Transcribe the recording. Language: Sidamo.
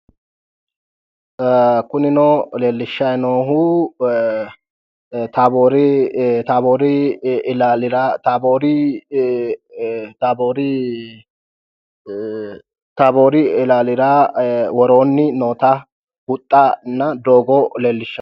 Kunino leellishshayi noohu taboori ilaalira woroonni noota huxxana doogo leellishanno